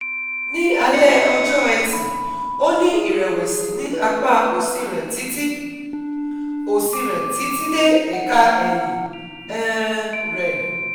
ní alẹ́ ọjọ́ Eti, ó ní ìrẹ̀wẹ̀sì ní apá òsì rẹ̀ títí òsì rẹ̀ títí dé ẹ̀ka ẹ̀yìn um rẹ̀